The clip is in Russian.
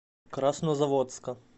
краснозаводска